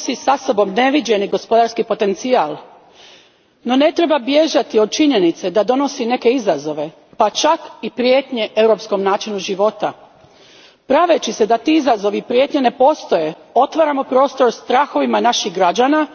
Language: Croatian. Gospođo predsjednice, stvaranje zone slobodne trgovine između Europe i Sjedinjenih Američkih Država nosi sa sobom neviđeni gospodarski potencijal. No, ne treba bježati od činjenice da donosi i neke izazove, pa čak i prijetnje europskom načinu života. Praveći se da ti izazovi i prijetnje ne postoje otvaramo prostor strahovima naših građana,